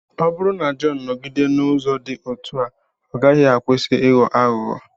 Ọ bụrụ na Jọn nọgide n’ụzọ dị otú a, ọ gaghị akwụsị ịghọ aghụghọ.